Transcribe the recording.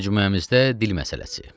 Məcmuəmizdə dil məsələsi.